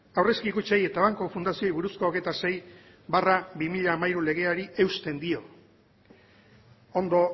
aurrezki kutxei eta banku fundazioei buruzko hogeita sei barra bi mila hamairu legeari eusten dio ondo